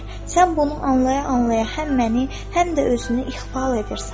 Sən bunu anlaya-anlaya həm məni, həm də özünü ixval edirsən.